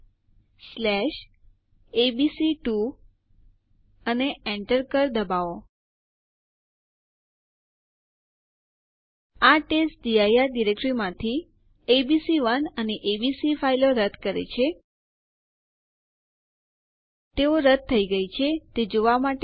આપણે યુઝરડેલ આદેશ ની મદદ થી યુઝરનું અકાઉન્ટ કાયમ માટે રદ કરી શકીએ છીએ